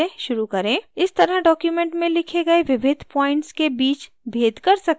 इस तरह document में लिखे गये विविध प्वॉइंट्स के बीच भेद कर सकते हैं